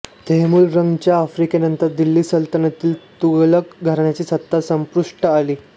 तैमूरलंग च्या आक्रमणानंतर दिल्ली सल्तनतील तुघलक घराण्याची सत्ता संपुष्टात आली